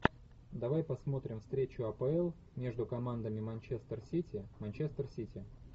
давай посмотрим встречу апл между командами манчестер сити манчестер сити